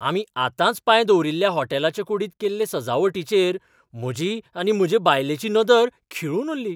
आमी आतांच पांय दवरील्ल्या होटॅलाचे कुडींत केल्ले सजावटीचेर म्हजी आनी म्हजे बायलेची नदर खिळून उरली.